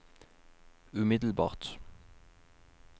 umiddelbart